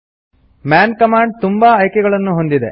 Mann command ತುಂಬಾ ಆಯ್ಕೆಗಳನ್ನು ಹೊಂದಿದೆ